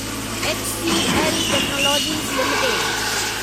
HCL technologies limited